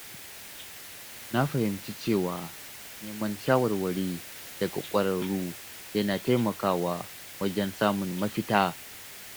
Na fahimci cewa neman shawarwari daga ƙwararru yana taimakawa wajen samun mafita.